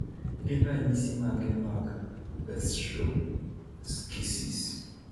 Gin ranyisi mage mag Gastroschisis?